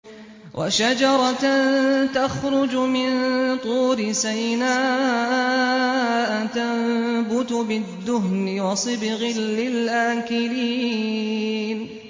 وَشَجَرَةً تَخْرُجُ مِن طُورِ سَيْنَاءَ تَنبُتُ بِالدُّهْنِ وَصِبْغٍ لِّلْآكِلِينَ